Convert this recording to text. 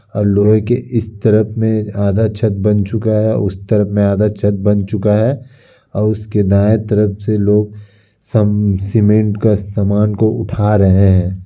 और लोहै के इस तरफ में आधा छत बन चुका है उस तरफ में आधा छत बन चुका है। और उसके दाएं तरफ से लोग सब सीमेंट का सामान को उठा रहे हैं।